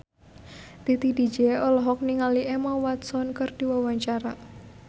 Titi DJ olohok ningali Emma Watson keur diwawancara